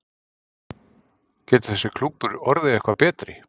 Getur þessi klúbbur orðið eitthvað betri?